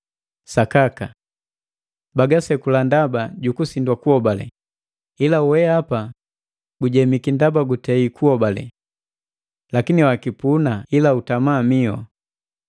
Sakaka! Bagasekula ndaba jukusindwa kuhobale, ila weapa gujemiki ndaba gutei kuhobale. Lakini wakipuna ila utama mihu.